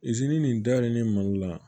nin dalen mali la